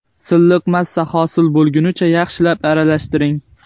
Silliq massa hosil bo‘lgunicha yaxshilab aralashtiring.